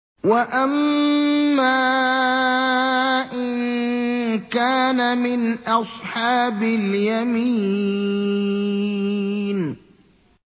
وَأَمَّا إِن كَانَ مِنْ أَصْحَابِ الْيَمِينِ